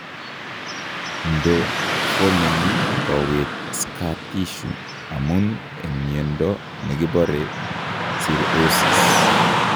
Ndo formeni kowet scar tissue amun eng' miondo nekibore cirrhosis